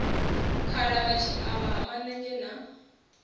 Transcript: khalavha tshiavha ha manenzhe na